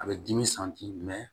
A bɛ dimi